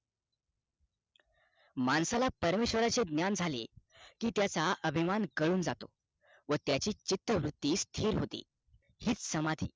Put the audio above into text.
माणसाला परमेशवराचे ज्ञान झाले कि त्याचा अभिमान गळून जातो व त्याची चित्तवृत्ति स्थिर होते हीच समाधी